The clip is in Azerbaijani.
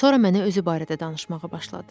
Sonra mənə özü barədə danışmağa başladı.